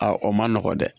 A o man nɔgɔn dɛ